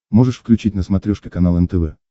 можешь включить на смотрешке канал нтв